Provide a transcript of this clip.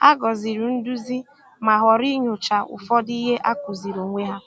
Hà gọzìrì nduzi, ma họrọ inyochaa ụfọdụ ihe a kụziri onwe ha.